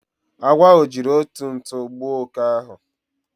Agwo ahu jiri otu ntu gbuo oke ahu